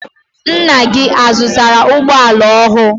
Ńnà gị ọ zụtara ụgbọala ọhụụ?